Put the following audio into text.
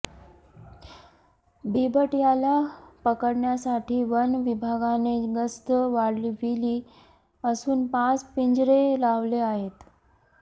बिबट्याला पकडण्यासाठी वन विभागाने गस्त वाढविली असून पाच पिंजरे लावले आहेत